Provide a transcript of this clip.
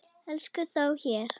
Ekki þó hér.